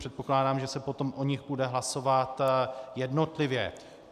Předpokládám, že se potom o nich bude hlasovat jednotlivě.